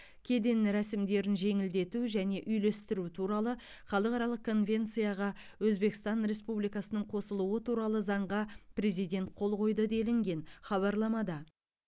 кеден рәсімдерін жеңілдету және үйлестіру туралы халықаралық конвенцияға өзбекстан республикасының қосылуы туралы заңға президент қол қойды делінген хабарламада